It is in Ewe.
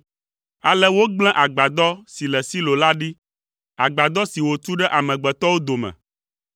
Ale wògblẽ agbadɔ si le Silo la ɖi, agbadɔ si wòtu ɖe amegbetɔwo dome.